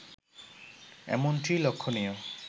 এমনটিই লক্ষণীয়